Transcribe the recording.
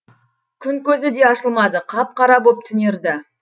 күн көзі де ашылмады қап қара боп түнерді